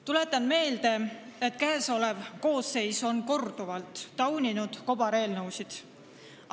Tuletan meelde, et käesolev koosseis on korduvalt tauninud kobareelnõusid.